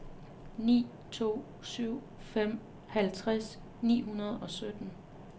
ni to syv fem halvtreds ni hundrede og sytten